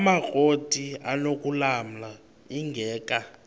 amakrot anokulamla ingeka